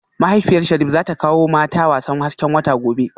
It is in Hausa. Mahaifiyar Sharif zata kawo mata wasan hasken wata gobe